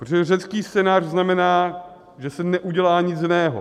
Protože řecký scénář znamená, že se neudělá nic jiného.